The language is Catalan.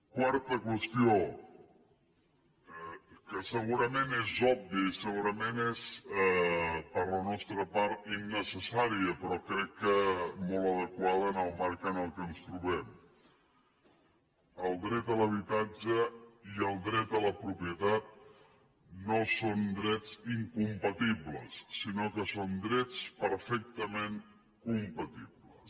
quarta qüestió que segurament és òbvia i segurament és per la nostra part innecessària però crec que molt adequada en el marc en què ens trobem el dret a l’habitatge i el dret a la propietat no són drets incompa tibles sinó que són drets perfectament compatibles